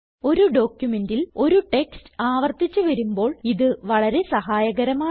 ഒരു ഡോക്യുമെന്റിൽ ഒരു ടെക്സ്റ്റ് ആവർത്തിച്ച് വരുമ്പോൾ ഇത് വളരെ സഹായകരമാണ്